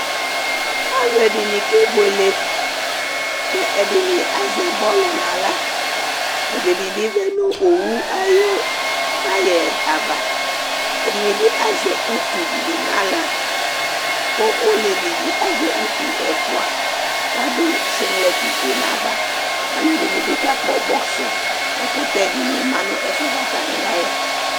Alu ɛdini ke buele, kɛ edini azɛ bɔlu n'aɣla, ɛdini bi ʋlɛ nu owu ayu tayɛ ava, ɛdini bi azɛ utu dini naɣla ku oleʋɩ di azɛ utu ɛfua k'adu siŋlɛti fue n'ava Alu ɛdini bi kakpɔ bɔksi Ɛkutɛ dini ma nu ɛfuɛ atani ya yɛ